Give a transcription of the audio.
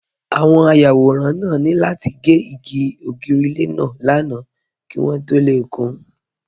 Àwọn ayàwòrán náà ní láti gé ògiri ilé náà lánàá kí wọ́n tó lè kún